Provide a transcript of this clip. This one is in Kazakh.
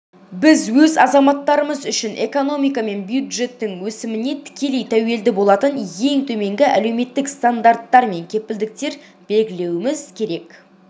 біз өз азаматтарымыз үшін экономика мен бюджеттің өсіміне тікелей тәуелді болатын ең төменгі әлеуметтік стандарттар мен кепілдіктер белгілеуіміз